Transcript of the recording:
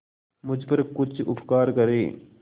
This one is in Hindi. मुझ पर कुछ उपकार करें